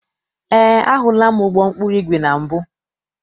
Eé, ahụla m ụgbọ ụkpụrụ igwe na mbụ.